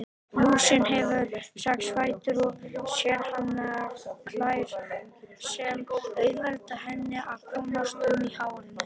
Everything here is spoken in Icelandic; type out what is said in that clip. Lúsin hefur sex fætur og sérhannaðar klær sem auðvelda henni að komast um í hárinu.